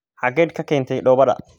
xageed ka keentay dhoobada?